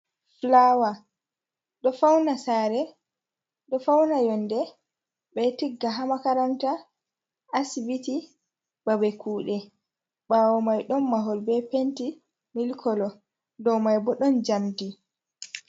"Fulawa"ɗo fauna sare ɗo fauna yonɗe ɓe tigga ha makaranta asibiti babe kuɗe bawo mai ɗon mahol be penti mil kolo ɗow mai bo ɗon jamɗi.